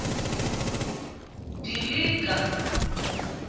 dilika